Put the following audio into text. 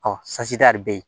bɛ yen